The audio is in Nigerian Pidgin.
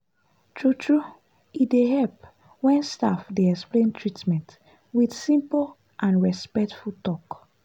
true-true e dey help when staff dey explain treatment with simple and respectful talk.